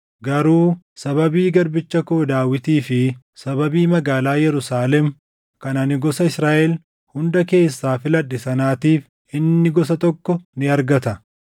Garuu sababii garbicha koo Daawitii fi sababii magaalaa Yerusaalem kan ani gosa Israaʼel hunda keessaa filadhe sanaatiif inni gosa tokko ni argata.